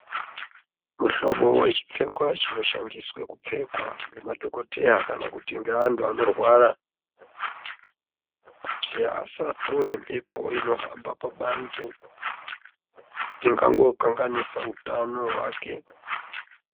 Muhlobo wechipfekwa chinoshandiswa kupfekwa ngemadhokodheya kana kuti ngeantu anorwara kuti asatore mphepo inohamba pabanze ingangokanganisa utano hwake.